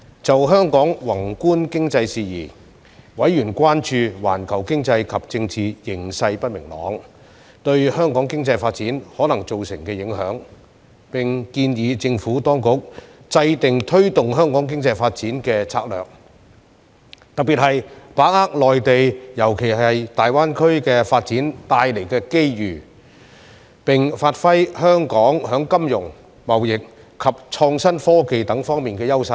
就香港宏觀經濟事宜，委員關注到環球經濟及政治形勢不明朗對香港經濟發展可能造成的影響，並建議政府當局制訂推動香港經濟發展的策略，特別是把握內地發展帶來的機遇，並發揮香港在金融、貿易及創新科技等方面的優勢。